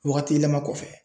Wagati yɛlɛma kɔfɛ.